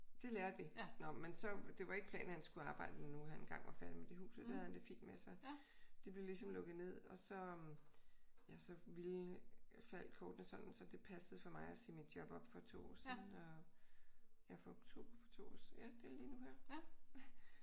Det lærte vi. Nå men så det var ikke planen at han skulle arbejde når nu han engang var færdig med det hus. Det havde han det fint med. Så det blev ligesom lukket ned. Og så ja så ville faldt kortene sådan så det passede for mig at sige mit job op for 2 år siden ja for oktober for 2 år siden. Ja det er lige nu her